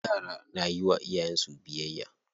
Yara na yiwa iyayen su biyayya.